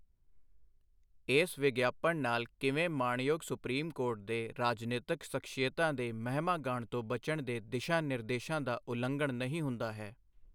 ਇਸ ਵਿਗਿਆਪਨ ਨਾਲ ਕਿਵੇਂ ਮਾਣਯੋਗ ਸੁਪਰੀਮ ਕੋਰਟ ਦੇ ਰਾਜਨੀਤਕ ਸਖ਼ਸੀਅਤਾਂ ਦੇ ਮਹਿਮਾਗਾਨ ਤੋਂ ਬਚਣ ਦੇ ਦਿਸ਼ਾ ਨਿਰਦੇਸ਼ਾਂ ਦਾ ਉਲੰਘਣ ਨਹੀਂ ਹੁੰਦਾ ਹੈ।